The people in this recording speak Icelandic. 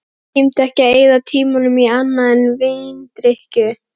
Ég tímdi ekki að eyða tímanum í annað en víndrykkju.